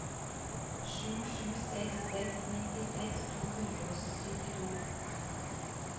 sju sju seks seks nittiseks to hundre og syttito